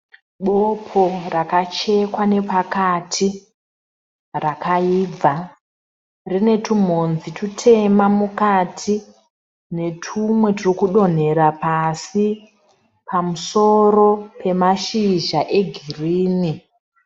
Bopo rakachekwa nepakati, rakaibva. Rine tumhodzi tutema mukati netumwe turi kudonhera pasi pamusoro pemashizha egirini.